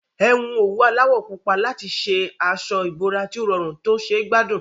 Ẹ hun òwú aláwọ̀ púpọ̀ papọ̀ láti ṣe aṣọ ìbora tí ó rọrùn tó ṣe gbádùn